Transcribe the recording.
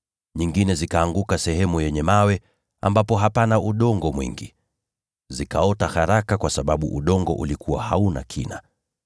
Nyingine zilianguka kwenye ardhi yenye mwamba isiyo na udongo wa kutosha. Zikaota haraka, kwa kuwa udongo ulikuwa haba.